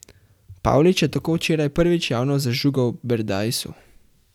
Pavlič je tako včeraj prvič javno zažugal Berdajsu.